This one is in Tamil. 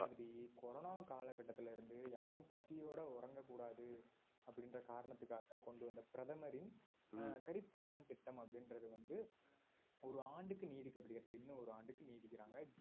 corona காலகட்டத்திலிருந்தே யாரும் பசியோட உறங்ககூடாது அப்படின்ற காரணத்துக்காக கொண்டு வந்த பிரதமரின் அஹ் garib kalyan திட்டம் அப்படின்றது வந்து ஒரு ஆண்டுக்கு நீடிக்கப்படுகிறது இன்னும் ஒரு ஆண்டுக்கு நீடிக்கிறாங்க